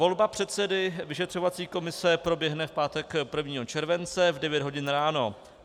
Volba předsedy vyšetřovací komise proběhne v pátek 1. července v 9 hodin ráno.